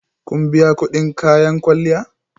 Kun biya kudin kayan kwalliya?